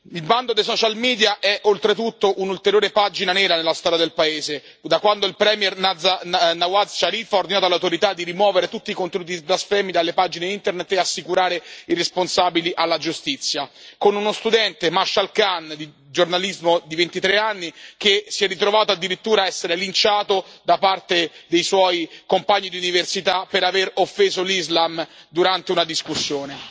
Il bando dei social media è oltretutto un'ulteriore pagina nera nella storia del paese, da quando il premier Nawaz Sharif ha ordinato alle autorità di rimuovere tutti i contenuti blasfemi dalle pagine Internet e assicurare i responsabili alla giustizia, con uno studente di giornalismo di ventitré anni, Mashal Khan, che si è ritrovato addirittura ad essere linciato da parte dei suoi compagni di università per aver offeso l'Islam durante una discussione.